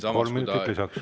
Kolm minutit lisaks.